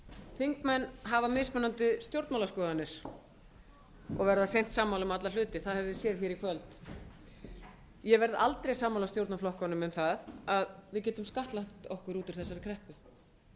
þingmenn hafa mismunandi stjórnmálaskoðanir og verða seint sammála um alla hluti það höfum við séð hér í kvöld ég verð aldrei sammála stjórnarflokkunum um það að við getum skattlagt okkur út úr þessari kreppu